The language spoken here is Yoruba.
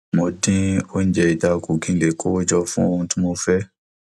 mo dín oúnjẹ ita kù kí n lè kó owó jọ fún ohun tí mo fẹ